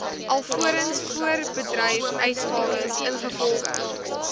alvorens voorbedryfsuitgawes ingevolge